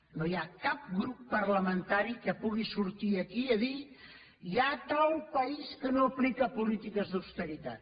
no hi ha cap grup parlamentari que pugui sortir aquí a dir hi ha tal país que no aplica polítiques d’austeritat